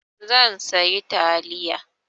Zan sayi taliya.